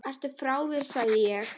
Ertu frá þér sagði ég.